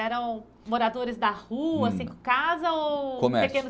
Eram moradores da rua, casa ou pequenos estabelecimentos?